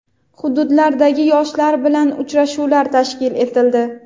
hududlardagi yoshlar bilan uchrashuvlar tashkil etildi.